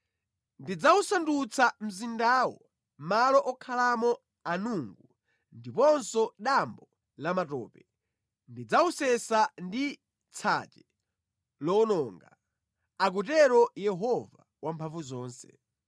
“Ndidzawusandutsa mzindawo malo okhalamo anungu ndiponso dambo lamatope; ndidzawusesa ndi tsache lowononga,” akutero Yehova Wamphamvuzonse.